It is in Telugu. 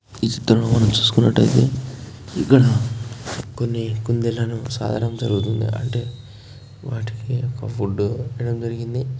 ఈ చిత్రంలో మనం చూసుకున్నట్లయితే ఇక్కడ కొన్ని కుందేళ్ళను సాకడం జరుగుతుంది. అంటే వాటికి ఫుడ్డు పెట్టడం జరిగింది.